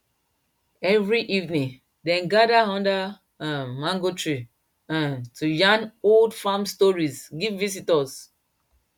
every evening dem gather under um mango tree um to yarn old farm stories give visitors